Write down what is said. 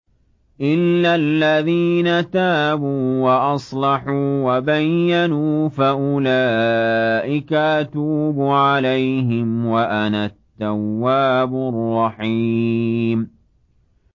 إِلَّا الَّذِينَ تَابُوا وَأَصْلَحُوا وَبَيَّنُوا فَأُولَٰئِكَ أَتُوبُ عَلَيْهِمْ ۚ وَأَنَا التَّوَّابُ الرَّحِيمُ